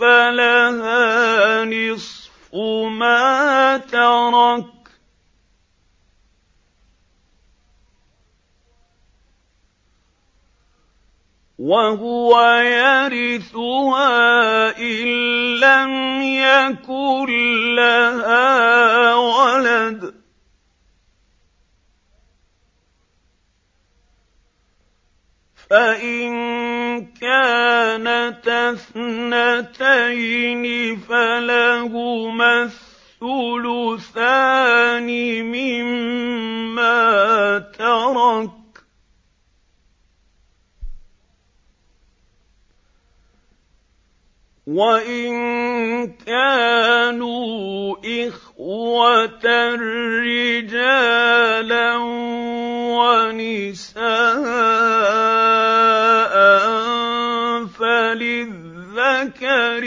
فَلَهَا نِصْفُ مَا تَرَكَ ۚ وَهُوَ يَرِثُهَا إِن لَّمْ يَكُن لَّهَا وَلَدٌ ۚ فَإِن كَانَتَا اثْنَتَيْنِ فَلَهُمَا الثُّلُثَانِ مِمَّا تَرَكَ ۚ وَإِن كَانُوا إِخْوَةً رِّجَالًا وَنِسَاءً فَلِلذَّكَرِ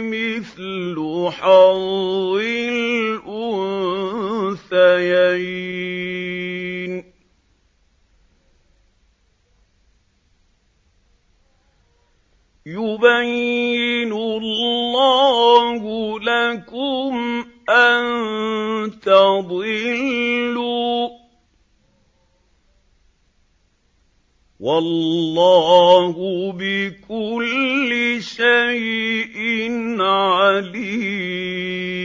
مِثْلُ حَظِّ الْأُنثَيَيْنِ ۗ يُبَيِّنُ اللَّهُ لَكُمْ أَن تَضِلُّوا ۗ وَاللَّهُ بِكُلِّ شَيْءٍ عَلِيمٌ